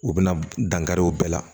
U bɛna dankari u bɛɛ la